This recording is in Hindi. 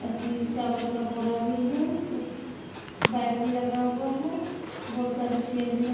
अच्छी चावल का बोरा भी है एक बाइक भी लगा हुआ है बहोत सारे चेयर भी रख--